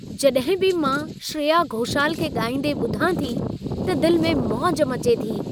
जडॾहिं बि मां श्रेया घोषाल खे ॻाईंदे ॿुधां थी, त दिल में मौज मचे थी।